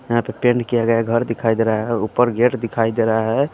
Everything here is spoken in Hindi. यहाँ पे पेंट किया गया है घर दिखाई दे रहा है ऊपर गेट दिखाई दे रहा है।